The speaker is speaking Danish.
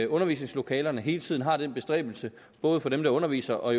undervisningslokalerne hele tiden har den bestræbelse både for dem der underviser og